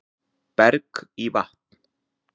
Berg í vatn